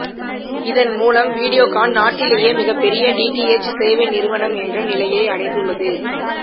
இதன் மூலம் வீடியோகான் நாட்டிலேயே மிகப்பெரிய டிடிஎச் சேவை நிறுவனம் என்ற நிலையை அடைந்துள்ளது